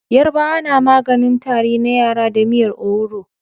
Yarabawa na maganin Tari na yara da miyar owuro